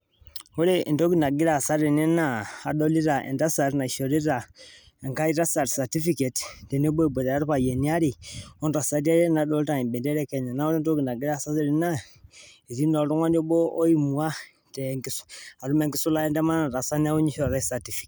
Wore entoki nakira aasa tene naa adolita entasat naishorita enkae tasat certificate tenebo eboitare irpayiani waare, ontasati are nadoolta embendera e Kenya. Naa wore entoki nakira aasa tene naa etii naa oltungani obo oimua atum enkisulata entemata nataasa neeku ninye ishoritae certificate.